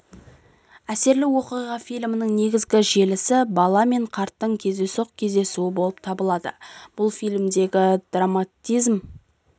әсерлі оқиға фильмнің негізгі желісі бала мен қарттың кездейсоқ кездесуі болып табылады бұл фильмдегі драматизм